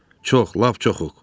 Çox, lap çoxuq.